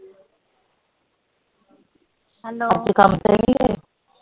ਅੱਜ ਕੰਮ ਤੇ ਨਹੀਂ ਗਏ